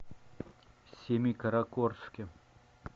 семикаракорске